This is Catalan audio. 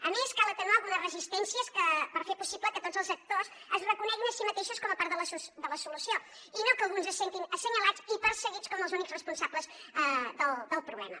a més cal atenuar algunes resistències per fer possible que tots els actors es reconeguin a si mateixos com a part de la solució i no que alguns se sentin assenyalats i perseguits com els únics responsables del problema